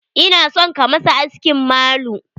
Ina son ka masa askin malu.